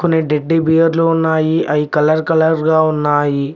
కొన్ని టెడ్డిబేర్ లు ఉన్నాయి అయి కలర్ కలర్ గా ఉన్నాయి.